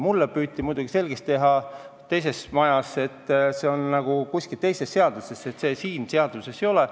Mulle püüti muidugi teises majas selgeks teha, et see on nagu kuskil teises seaduses, et see siin seaduses ei ole.